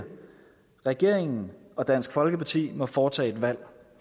regeringen og dansk folkeparti må foretage et valg